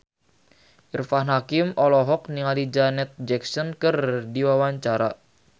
Irfan Hakim olohok ningali Janet Jackson keur diwawancara